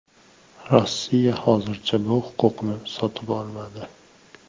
Rossiya hozircha bu huquqni sotib olmadi.